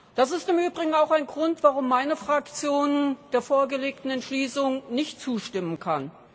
Das ist im Übrigen auch ein Grund, warum meine Fraktion der vorgelegten Entschließung nicht zustimmen kann.